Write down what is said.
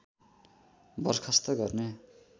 बरखास्त गर्ने